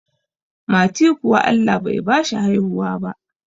Mati kuwa Allah Bai bashi haihuwa ba